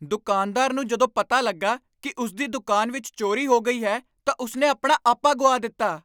ਦੁਕਾਨਦਾਰ ਨੂੰ ਜਦੋਂ ਪਤਾ ਲੱਗਾ ਕਿ ਉਸ ਦੀ ਦੁਕਾਨ ਵਿੱਚ ਚੋਰੀ ਹੋ ਗਈ ਹੈ ਤਾਂ ਉਸ ਨੇ ਆਪਣਾ ਆਪਾ ਗੁਆ ਦਿੱਤਾ।